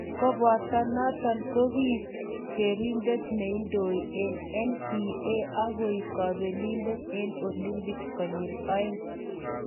Koboto noto ko kiek kerindet neindoi eng NBA akoek kobelindet eng Olympics konyil oeng